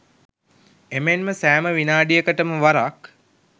එමෙන්ම සෑම විනාඩිකටම වරක්